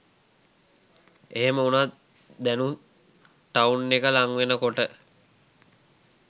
එහෙම වුණත් දැනුත් ටවුන් එක ලංවෙන කොට